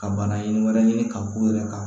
Ka bana ye wɛrɛ ɲini ka k'u yɛrɛ kan